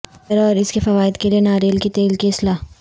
چہرہ اور اس کے فوائد کے لئے ناریل کے تیل کی اصلاح